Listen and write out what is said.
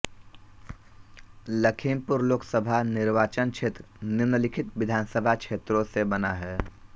लखीमपुर लोकसभा निर्वाचन क्षेत्र निम्नलिखित विधानसभा क्षेत्रों से बना है